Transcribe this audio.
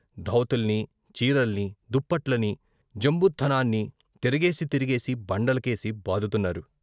ధోవతుల్ని, చీరల్ని, దుప్పట్లని, జంబుథానాన్ని తిరగేసి తిరగేసి బండల కేసి బాదుతున్నారు.